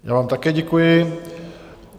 Já vám také děkuji.